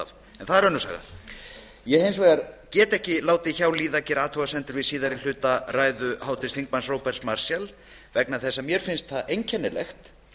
en það er önnur saga ég get hins vegar ekki látið hjá líða að gera athugasemd við síðari hluta ræðu háttvirts þingmanns róberts marshalls vegna þess að mér finnst það einkennilegt